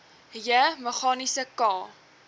j meganiese k